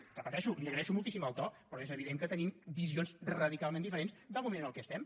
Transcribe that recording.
ho repeteixo li agraeixo moltíssim el to però és evident que tenim visions radicalment diferents del moment en què estem